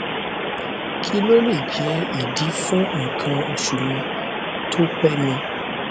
kí ló lè jẹ ìdí fún nkan osu mi to pé mi